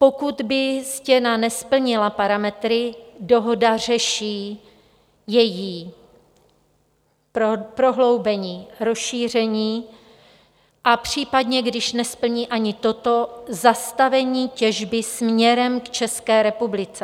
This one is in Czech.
Pokud by stěna nesplnila parametry, dohoda řeší její prohloubení, rozšíření a případně, když nesplní ani toto, zastavení těžby směrem k České republice.